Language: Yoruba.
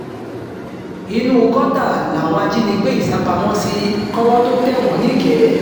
inú gọ́tà làwọn ajìnigbé yìí sá pamọ́ sí kọ́wọ́ tóo tẹ̀ wọ́n nìkẹ́